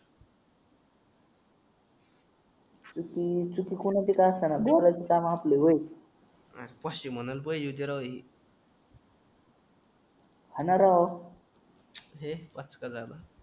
चुकी चुकी कोणाची का असे ना काम आपले होईल हा ना राव लय पचका झाला